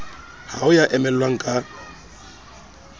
ha ho ya emellwang ka